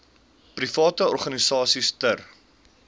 private organisasies ter